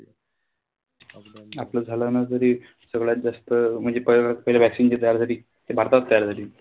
आपलं झालं ना तरी सगळ्यात जास्त म्हणजे पहिली vaccine जी तयार झाली, ती भारतात तयार झाली.